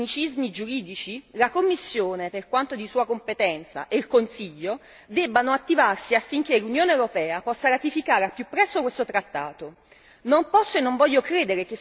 Io credo che, al di là dei tecnicismi giuridici, la Commissione, per quanto di sua competenza, e il Consiglio debbano attivarsi affinché l'Unione europea possa ratificare al più presto questo trattato.